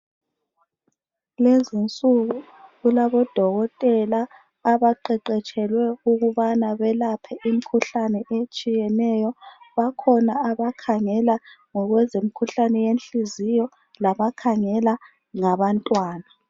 Kulezi insuku kulabodokotela abaqeqetshele ukubana belaphe imikhuhlane etshiyeneyo. Bakhona abakhangela ngokwezemikhuhlane yenhliziyo, labakhangela ngabantwana.